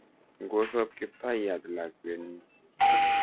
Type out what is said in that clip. Ngosoob Kiptayat lakwenyi.